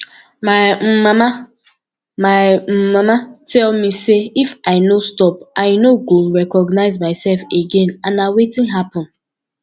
my um mama my um mama tell me say if i no stop i no go recognize myself again and na wetin happen